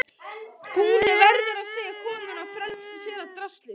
Og þú verður að segja konunni að fela draslið.